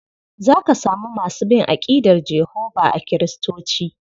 Za ka samu masu bin aƙidar Jehovah a Kiristoci.